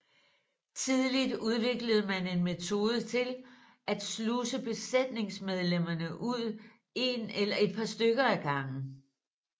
Tidligt udviklede man en metode til at sluse besætningsmedlemmerne ud en eller et par stykker ad gangen